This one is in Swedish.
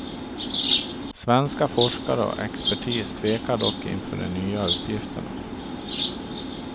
Svenska forskare och expertis tvekar dock inför de nya uppgifterna.